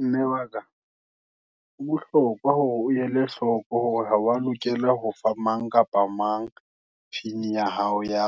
Mme waka, ho bohlokwa, hore o ele hloko, hore ha wa lokela ho fa mang kapa mang, pin ya hao ya